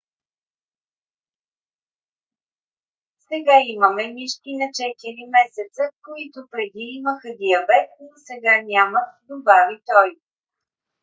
"сега имаме мишки на 4 месеца които преди имаха диабет но сега нямат добави той